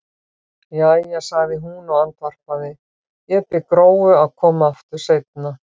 Jæja, sagði hún og andvarpaði, ég bið Gróu að koma aftur seinna.